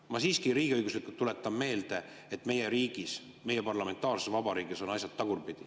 Ma siiski tuletan meelde, et riigiõiguslikult on meie riigis, meie parlamentaarses vabariigis asjad tagurpidi.